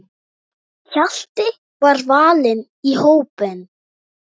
Hjalti var valinn í hópinn.